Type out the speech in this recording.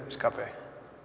skapi